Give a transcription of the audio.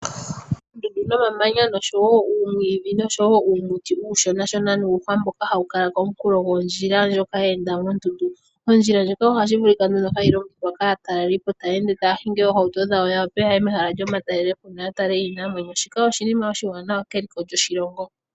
Oondundu nomamanya noshowo uumwiidhi, noshowo uumuti uushonashona nuuhwa mboka hawu kala komunkulo gondjila ndjoka ye enda moondundu, ondjila ndjoka ohashi vulika hayi longithwa kaataleli po taya ende taya hingi oohauto dhawo ya wape yaye mehala lyomatalelo po yo ya tale iinamwenyo, shika oshinima oshiwanawa keliko lyoshilongo.